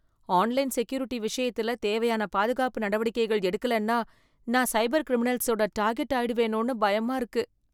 Online security விஷயத்துல தேவையான பாதுகாப்பு நடவடிக்கைகள் எடுக்கலன்னா, நான் சைபர் கிரிமினல்ஸோட டார்கெட் ஆயிடுவேனோனு பயமா இருக்கு.